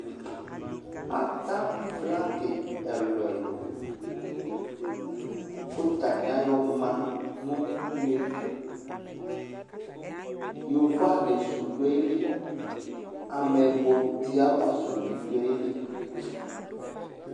Ata flagi ɛlʋ ɛlʋ k'atani ayɔ ma nʋ une tʋ Yovo ali sʋ dʋ ayili, ameyibɔti yɛ ava sʋ bi dʋ ayili